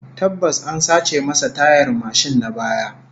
Tabbas, an sace masa tayar mashin na baya